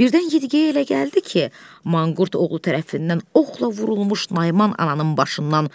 Birdən Yeditgeyə elə gəldi ki, manqurt oğlu tərəfindən oxla vurulmuş Nayman ananın başından